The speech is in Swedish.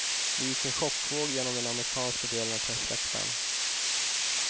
Det gick en chockvåg genom den amerikanska delen av pressläktaren.